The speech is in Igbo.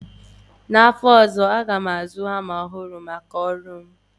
N'afọ ozọ, aga m azụ hama ọhụrụ maka ọrụ m